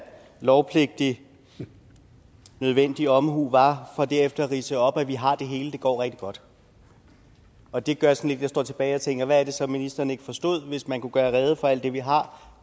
lovpligtig nødvendig omhu var for derefter at ridse op at vi har det hele det går rigtig godt og det gør sådan jeg står tilbage og tænker hvad er det så ministeren ikke forstod hvis man kunne gøre rede for alt det vi har